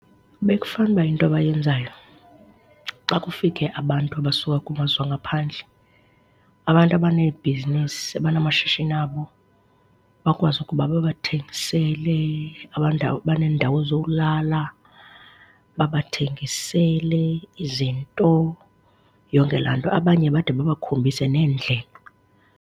Bekufane uba into abayenzayo xa kufike abantu abasuka kumazwe angaphandle, abantu abaneebhizinesi, abanamashishini abo bakwazi ukuba babathengisele, baneendawo zowulala, babathengisele izinto, yonke laa nto. Abanye bade babakhombise neendlela.